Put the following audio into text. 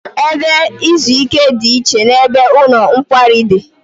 Ebe izu ike dị iche n'ebe ụlọ nkwari dị